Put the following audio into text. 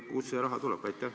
Kust see raha tuleb?